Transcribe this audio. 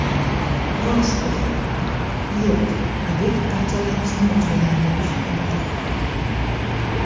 Rostov: Yo‘q, obyekt parchalanishni boshlaganga o‘xshaydi.